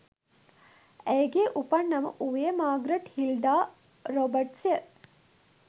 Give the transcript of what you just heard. ඇයගේ උපන් නම වූයේ මාග්‍රට් හිල්ඩා රොබර්ට්ස්ය